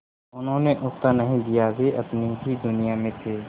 उन्होंने उत्तर नहीं दिया वे अपनी ही दुनिया में थे